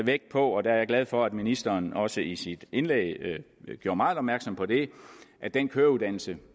vægt på og der er jeg glad for at ministeren også i sit indlæg gjorde meget opmærksom på det at den køreuddannelse